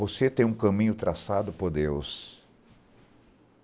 Você tem um caminho traçado por Deus